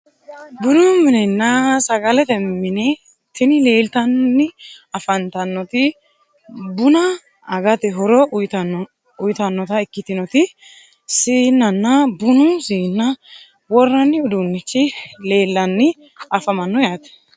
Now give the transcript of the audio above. Bunu minenna sagalete mine tini leeltanni afantannoti buna agate horo uyitannota ikkitinoti siinnanna bunu siinna worranni uduunnichi leellanni afamanno yaate